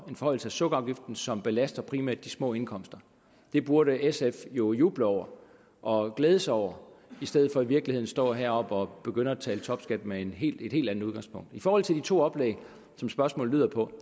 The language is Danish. en forhøjelse af sukkerafgiften som belaster primært de små indkomster det burde sf jo juble over og glæde sig over i stedet for i virkeligheden at stå heroppe og begynde at tale om topskat med et helt andet udgangspunkt i forhold til de to oplæg som spørgsmålet lyder på